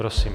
Prosím.